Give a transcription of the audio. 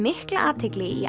mikla athygli í